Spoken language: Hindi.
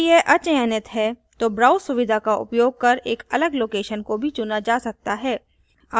यदि यह अचयनित है तो browse सुविधा का उपयोग कर एक अलग location को भी चुना जा सकता है